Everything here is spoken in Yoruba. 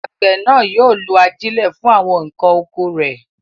Àgbẹ̀ náà yóò lo ajílẹ̀ fún àwọn nǹkan oko rẹ̀.